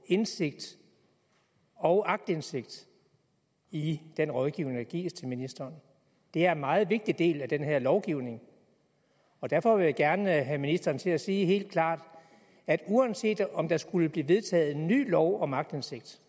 indsigt og aktindsigt i den rådgivning der gives til ministeren det er en meget vigtig del af den her lovgivning og derfor vil jeg gerne have ministeren til at sige helt klart at uanset om der skulle blive vedtaget en ny lov om aktindsigt